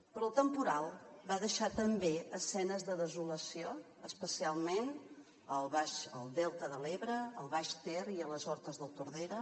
però el temporal va deixar també escenes de desolació especialment al delta de l’ebre al baix ter i a les hortes del tordera